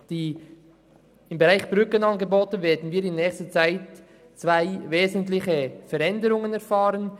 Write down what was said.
Der Bereich Brückenangebote wird in nächster Zeit zwei wesentliche Veränderungen erfahren.